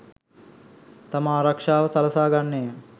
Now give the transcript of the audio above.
තම ආරක්‍ෂාව සලසා ගන්නේය.